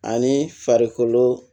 Ani farikolo